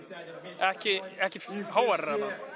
ekki ekki háværari